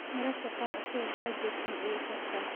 Mararka kaar asago kaajesan ayu sexdaa.